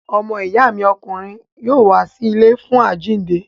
Ọmọ ìyá mi ọkùnrin yóò wá sí ilé fún àjíǹde.